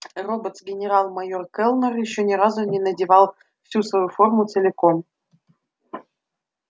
роботс генерал-майор кэллнер ещё ни разу не надевал всю свою форму целиком